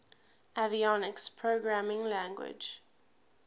avionics programming language